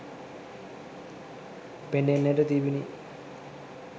පෙනෙන්නට තිබිණි